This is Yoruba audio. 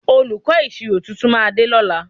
Olùkọ́ ìṣirò tuntun máa dé lọ́la